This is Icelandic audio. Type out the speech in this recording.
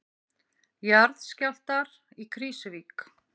Jarðskjálftar í Krýsuvík